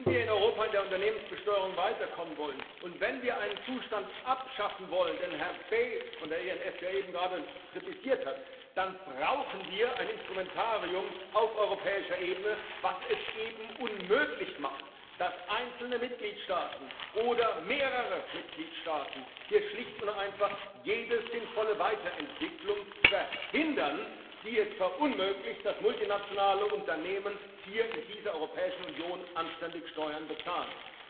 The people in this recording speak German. Wenn wir in Europa in der Unternehmensbesteuerung weiterkommen wollen und wenn wir einen Zustand abschaffen wollen, den Herr Bay von der ENF ja eben gerade kritisiert hat, dann brauchen wir ein Instrumentarium auf europäischer Ebene, das es eben unmöglich macht, dass einzelne Mitgliedstaaten oder mehrere Mitgliedstaaten hier schlicht und einfach jede sinnvolle Weiterentwicklung verhindern, die es verunmöglicht, dass multinationale Unternehmen hier in dieser Europäischen Union anständig Steuern bezahlen.